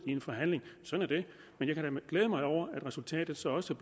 i en forhandling sådan er det men jeg mig over at resultatet så også